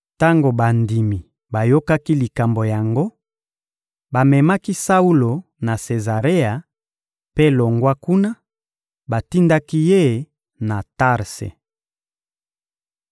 Tango bandimi bayokaki likambo yango, bamemaki Saulo na Sezarea, mpe, longwa kuna, batindaki ye na Tarse.